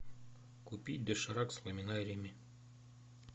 купи доширак с ламинариями